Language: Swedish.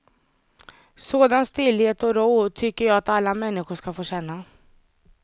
Sådan stillhet och ro tycker jag att alla människor ska få känna.